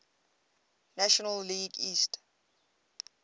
national league east